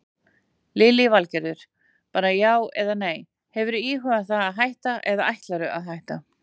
Lillý Valgerður: Bara já eða nei, hefurðu íhugað það að hætta eða ætlarðu að hætta?